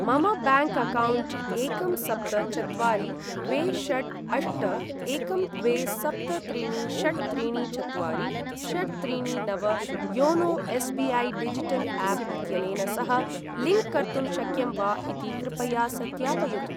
मम bank account एकं सप्त चत्वारि द्वे षट् अष्ट एकं द्वे सप्त त्रीणि षट् त्रीणि चत्वारि षट् त्रीणि नव योनो एस्.बी.ऐ. डिजिटल् आप् इत्यनेन सह लिंक् कर्तुं शक्यं वा इति कृपया सत्यापयतु ।